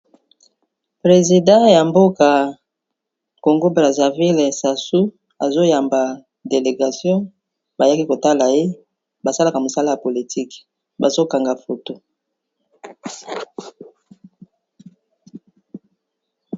Président ya mboka Congo Brazza ville Sassou azo yamba déléguation ba yaki ko tala ye ba salaka mosala ya politique bazo kanga photo .